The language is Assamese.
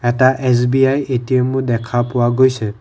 এটা এছ_বি_আই এ_টি_এম মো দেখা পোৱা গৈছে।